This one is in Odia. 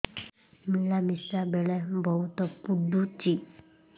ମିଳାମିଶା ବେଳେ ବହୁତ ପୁଡୁଚି